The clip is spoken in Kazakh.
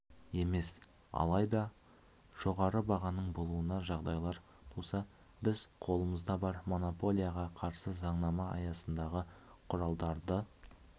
емес алайда жоғары бағаның болуына жағдайлар туса біз қолымызда бар монополияға қарсы заңнама аясындағы құралдарды